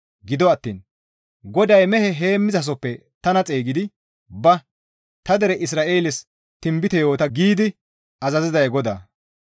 Gido attiin GODAY mehe heemmizasohoppe tana xeygidi, ‹Ba! Ta dere Isra7eeles tinbite yoota› giidi azaziday GODAA.